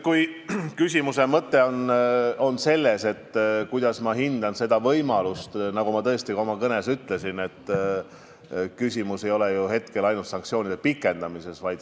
Kui te küsite, kuidas ma hindan võimalust sanktsioone kehtestada, siis nagu ma oma kõnes ütlesin, küsimus ei ole ju ainult sanktsioonide pikendamises.